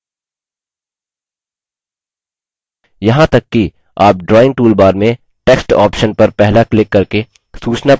यहाँ तक कि आप drawing toolbar में text option पर पहला क्लिक करके सूचनापत्र में banners भी जोड़ सकते हैं